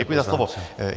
Děkuji za slovo.